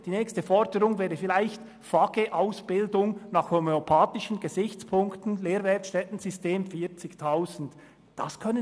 Die nächste Forderung wäre vielleicht, FAGE-Ausbildungen nach homöopathischen Gesichtspunkten im Lehrwerkstättensystem für 40 000 Franken pro Person anzubieten.